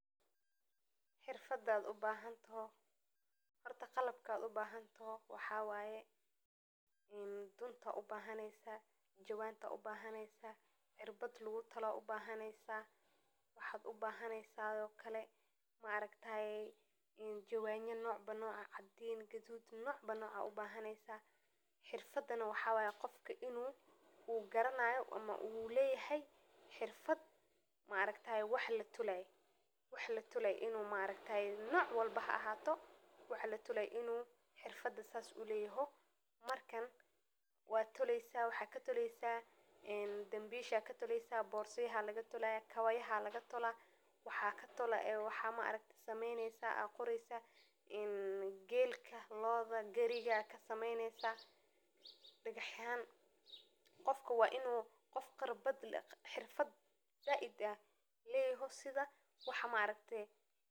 Suuqa waaweyn ee magaaladu wuxuu ku yaalaa meel aan fogeyn, wuxuuna ka duwan yahay dhammaan suuqaadka kale ee aad ka arki karto, waayo, waa meel aad u kala duwan oo ay ku qurux badan tahay quruxda midabka, qaylo dheeraadka iyo qosolka ganacsatada iyo macaamiisha, halkaas oo ay isugu yimaadaan dadka quruumaha kala duwan, kuwaas oo ku kala raadinaya alaabooyin qurux badan oo ka imanaya waddamo kala duwan, sida dharka quruxda badan ee ka yimaada dalka, midabada duwan ee ka soo jeeda dalka Kenya, iyo waxyaabaha la isku dhiso ee lagu sameeyo dalka gudihiisa, halkaas oo aad maqli karto muusikada duuduuban ee ka soo baxda gawaadhida, iyo qaar ka mid ah codadka ugu macaan ee ku hadla afafka kala duwan.